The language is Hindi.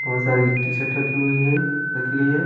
बहुत सारी टीशर्ट रखी हुई है रखी गई है।